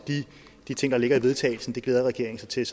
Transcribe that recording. de ting der ligger i vedtagelse det glæder regeringen sig til